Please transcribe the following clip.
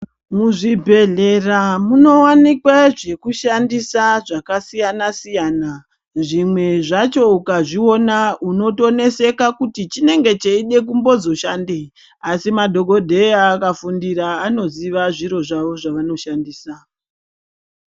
Muzvibhedhlera munowanikwe zvekushandisa zvakasiyana siyana. Zvimwe zvacho ukazviona unotoneseka kuti chinenge cheide kumbozoshandei asi madhokodheya akafundira anoziva zviro zvavo zvavanoshandisa.